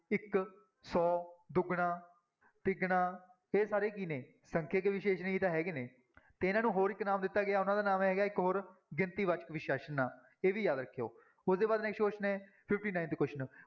ਇੱਕ, ਸੌ, ਦੁੱਗਣਾ, ਤਿੱਗਣਾ ਇਹ ਸਾਰੇ ਕੀ ਨੇ ਸੰਖਿਅਕ ਵਿਸ਼ੇਸ਼ਣ ਹੀ ਤਾਂ ਹੈਗੇ ਨੇ, ਤੇ ਇਹਨਾਂ ਨੂੰ ਹੋਰ ਇੱਕ ਨਾਮ ਦਿੱਤਾ ਗਿਆ, ਉਹਨਾਂ ਦਾ ਨਾਮ ਹੈਗਾ ਇੱਕ ਹੋਰ ਗਿਣਤੀ ਵਾਚਕ ਵਿਸ਼ੇਸ਼ਣ, ਇਹ ਵੀ ਯਾਦ ਰੱਖਿਓ ਉਹਦੇ ਬਾਅਦ next question ਹੈ fifty-Ninth question